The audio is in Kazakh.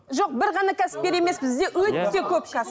жоқ бір ғана кәсіпкер емес бізде өте көп кәсіп